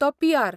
तो पी.आर.